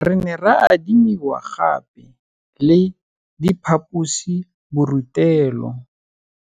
Re ne ra adimiwa gape le diphaposiborutelo.